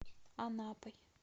анапой